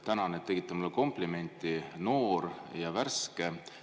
Tänan, et tegite mulle komplimendi: noor ja värske.